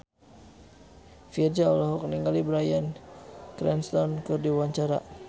Virzha olohok ningali Bryan Cranston keur diwawancara